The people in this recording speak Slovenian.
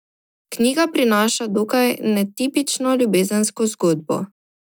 Knjiga prinaša dokaj netipično ljubezensko zgodbo.